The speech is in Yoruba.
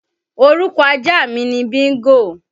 Orúkọ ajá mi ni Bíńgò.